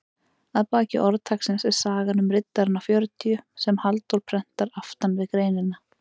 Að baki orðtaksins er sagan um riddarana fjörutíu sem Halldór prentar aftan við greinina.